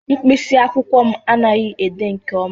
mkpịsị akwụkwọ m anaghị ede nke ọma